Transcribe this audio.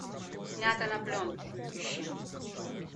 снято на пленку ищи